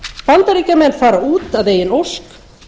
bandaríkjamenn fara út að eigin ósk